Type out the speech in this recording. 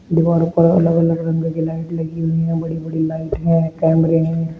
दीवार पर अलग अलग रंग के लाइट लगी हुई है बड़ी बड़ी लाइट है कैमरे हैं।